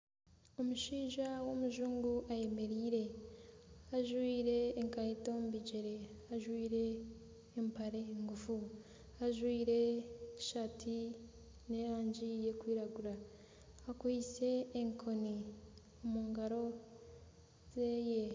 Omushaija w'omujungu ayemereire. Ajwire enkeito omu bigyere, ajwire empare ngufu, ajwire tisaati yerangi erikwiragura akwaiste enkoni omu ngaro ze.